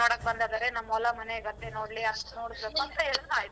ಇಷ್ಟ ಅಂತೆ ನೋಡಕ್ ಬಂದದಾರೆ ನಮ್ ಹೊಲ ಮನೆ ಗದ್ದೆ ನೋಡ್ಲಿ ಅಷ್ಟ್ .